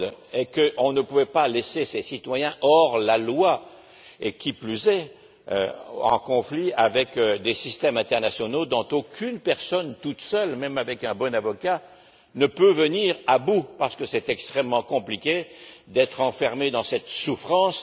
et parce qu'on ne pouvait pas laisser ces citoyens hors la loi et, qui plus est, en conflit avec des systèmes internationaux dont aucune personne toute seule, même avec un bon avocat, ne peut venir à bout, parce que c'est extrêmement compliqué d'être enfermé dans cette souffrance.